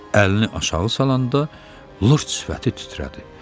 Əlini aşağı salanda lırt sifəti titrədi.